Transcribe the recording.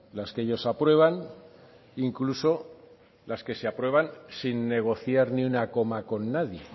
las que ellos aprueban incluso las que se aprueban sin negociar ni una coma con nadie